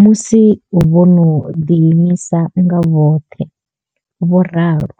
musi vho no ḓiimisa nga vhoṱhe, vho ralo.